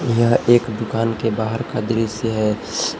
यह एक दुकान के बाहर का दृश्य है।